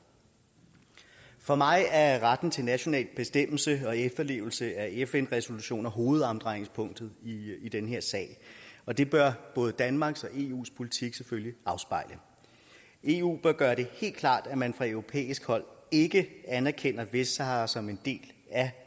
for mig er retten til national bestemmelse og efterlevelsen af fn resolutioner hovedomdrejningspunktet i den her sag og det bør både danmarks og eus politik selvfølgelig afspejle eu bør gøre det helt klart at man fra europæisk hold ikke anerkender vestsahara som en del af